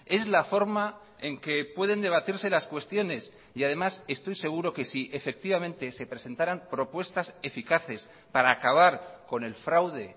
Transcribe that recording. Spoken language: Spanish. es la forma en que pueden debatirse las cuestiones y además estoy seguro que si efectivamente se presentaran propuestas eficaces para acabar con el fraude